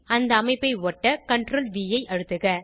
அந்த அமைப்பை ஒட்ட CTRLV ஐ அழுத்துக